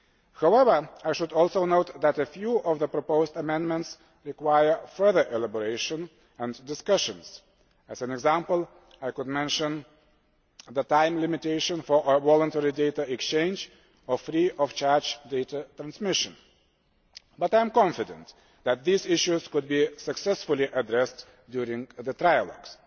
However, I should also note that a few of the proposed amendments require further elaboration and discussion. As an example, I could mention the time limitation for voluntary data exchange or free of charge data transmission, but I am confident that these issues can be successfully addressed during the trilogues.